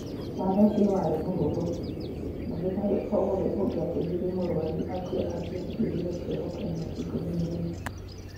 Watho ũcio warĩ mũhũthũ, ndagĩtarĩ o wothe ũngĩateithirie mũrwaru akue angĩatuĩrũo kĩoho kĩa mĩaka 14.